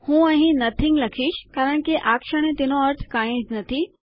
હું અહીં નથીંગ લખીશ કારણ કે આ ક્ષણે તેનો અર્થ કાંઈ જ નથી